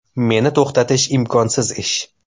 Meni to‘xtatish imkonsiz ish.